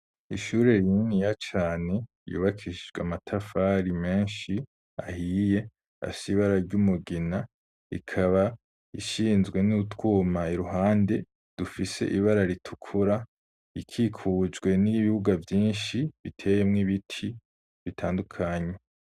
Ishure rininiya cane yubakishijwe amatafari menshi ahiye afise ibara ry'umugina ikaba ishizwe n'utwuma iruhande dufise ibara ritukura ikikujwe n'ibibuga vyinshi biteyemwo ibiti bitandukanye.